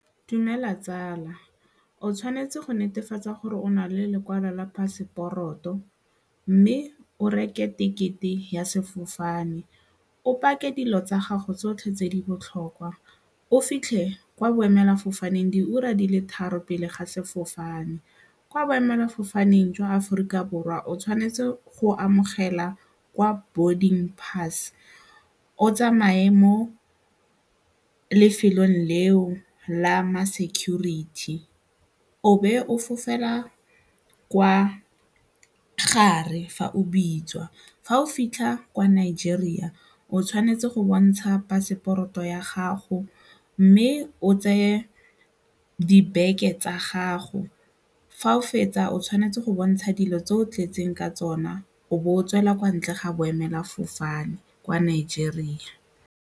Dumela tsala, o tshwanetse go netefatsa gore o na le lekwalo la paseporoto mme o reke tekete ya sefofane, o pake dilo tsa gago tsotlhe tse di botlhokwa o fitlhe kwa boemela fofaneng diura di le tharo pele ga sefofane. Kwa boemelafofane jwa aforika borwa o tshwanetse go amogela kwa boarding pass o tsamaye mo lefelo leo la ma-security o be o fofela kwa gare fa o bitswa. Fa o fitlha kwa Nigeria, o tshwanetse go bontsha phaseporoto ya gago mme o tseye dibeke tsa gago fa o fetsa o tshwanetse go bontsha dilo tse o tletseng ka tsona o bo o tswela kwa ntle ga boemelafofane kwa Nigeria.